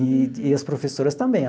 E e as professoras também.